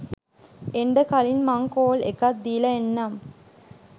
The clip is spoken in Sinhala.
එන්ඩ කලින් මං කෝල් එකක් දීලා එන්නම්